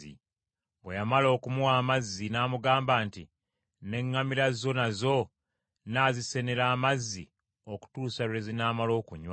Bwe yamala okumuwa amazzi, n’amugamba nti, “N’eŋŋamira zo nazo nnaazisenera amazzi okutuusa lwe zinaamala okunywa.”